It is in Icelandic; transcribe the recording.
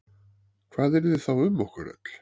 Hvað yrði þá um okkur öll?